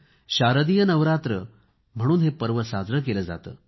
शारदीय नवरात्र म्हणून हे पर्व साजरे केले जाते